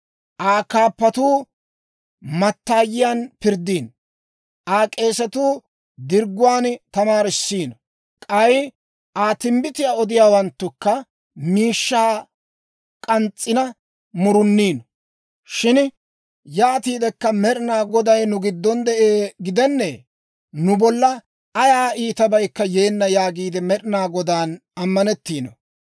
Aa kaappatuu mattaayiyaan pirddiino; Aa k'eesatuu dirgguwaan tamaarisiino; k'ay Aa timbbitiyaa odiyaawanttukka miishshaa k'ans's'ina muruniino. Shin yaatiidekka, «Med'ina Goday nu giddon de'ee gidennee? Nu bolla ayaa iitabaykka yeenna» yaagiide Med'inaa Godaan ammanettiino.